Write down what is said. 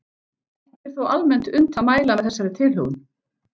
Ekki er þó almennt unnt að mæla með þessari tilhögun.